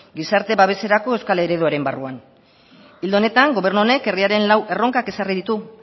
gizarte babeserako euskal ereduaren barruan ildo honetan gobernu honek herriaren lau erronka ezarri ditu